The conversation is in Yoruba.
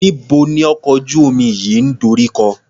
Níbo ni ọkọ̀ ojú-omi yìí ń dorí kọ?